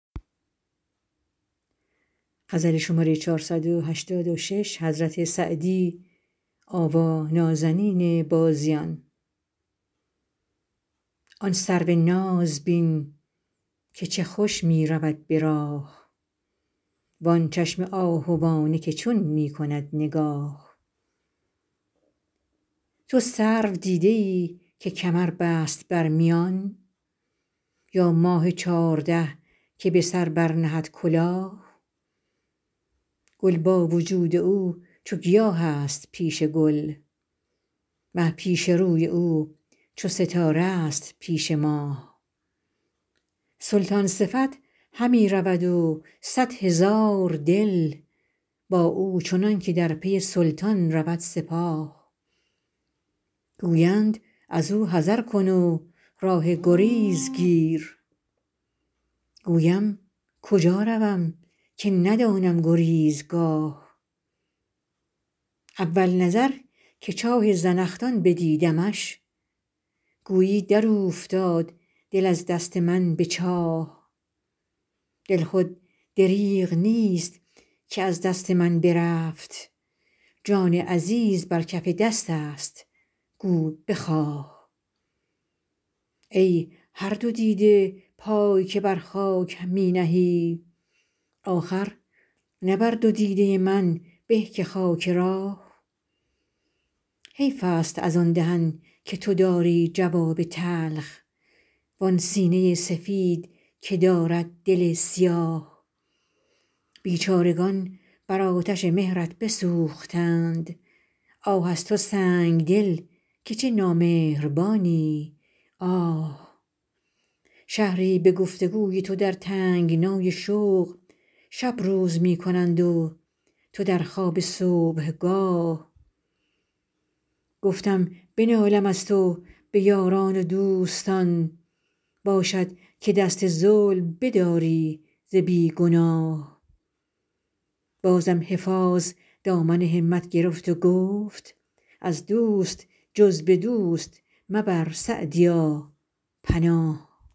آن سرو ناز بین که چه خوش می رود به راه وآن چشم آهوانه که چون می کند نگاه تو سرو دیده ای که کمر بست بر میان یا ماه چارده که به سر برنهد کلاه گل با وجود او چو گیاه است پیش گل مه پیش روی او چو ستاره ست پیش ماه سلطان صفت همی رود و صد هزار دل با او چنان که در پی سلطان رود سپاه گویند از او حذر کن و راه گریز گیر گویم کجا روم که ندانم گریزگاه اول نظر که چاه زنخدان بدیدمش گویی در اوفتاد دل از دست من به چاه دل خود دریغ نیست که از دست من برفت جان عزیز بر کف دست است گو بخواه ای هر دو دیده پای که بر خاک می نهی آخر نه بر دو دیده من به که خاک راه حیف است از آن دهن که تو داری جواب تلخ وآن سینه سفید که دارد دل سیاه بیچارگان بر آتش مهرت بسوختند آه از تو سنگدل که چه نامهربانی آه شهری به گفت و گوی تو در تنگنای شوق شب روز می کنند و تو در خواب صبحگاه گفتم بنالم از تو به یاران و دوستان باشد که دست ظلم بداری ز بی گناه بازم حفاظ دامن همت گرفت و گفت از دوست جز به دوست مبر سعدیا پناه